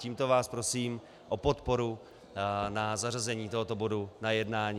Tímto vás prosím o podporu na zařazení tohoto bodu na jednání.